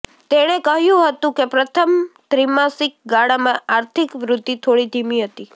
તેણે કહ્યું હતું કે પ્રથમ ત્રિમાસિક ગાળામાં આર્થિક વૃદ્ધિ થોડી ધીમી હતી